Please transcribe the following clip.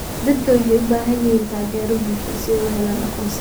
Dadku waxay u baahan yihiin taageero bulsho si ay u helaan aqoonsiga.